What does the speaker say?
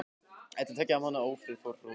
Eftir tveggja mánaða ófrið fór hróður